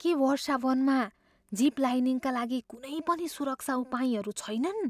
के वर्षावनमा जिप लाइनिङका लागि कुनै पनि सुरक्षा उपायहरू छैनन्?